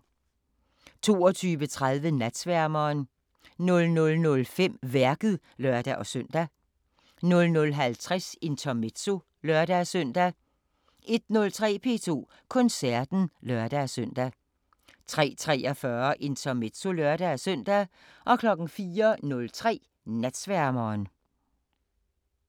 22:30: Natsværmeren 00:05: Værket (lør-søn) 00:50: Intermezzo (lør-søn) 01:03: P2 Koncerten (lør-søn) 03:43: Intermezzo (lør-søn) 04:03: Natsværmeren